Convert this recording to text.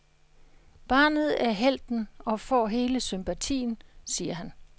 Barnet er helten og får hele sympatien, siger han.